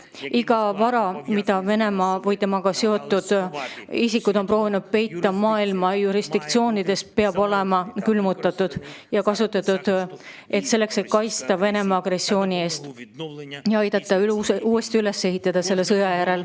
Kogu vara, mida Venemaa või temaga seotud isikud on proovinud peita maailma jurisdiktsioonides, tuleb külmutada ja seda tuleb kasutada selleks, et kaitsta meid Venemaa agressiooni eest ja aidata selle sõja järel meie riiki uuesti üles ehitada.